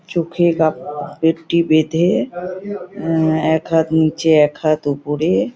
চোখে কাপ ফেটটি বেঁধে অ্যা এক হাত নিচে এক হাত ওপরে।